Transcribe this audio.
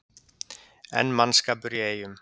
Enn mannskapur í Eyjum